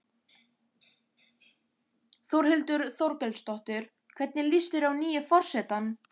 Þórhildur Þorkelsdóttir: Hvernig líst þér á nýja forsetann?